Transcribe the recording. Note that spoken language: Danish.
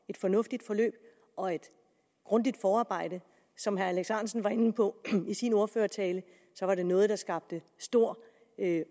et fornuftigt forløb og et grundigt forarbejde som herre alex ahrendtsen var inde på i sin ordførertale var det noget der skabte stor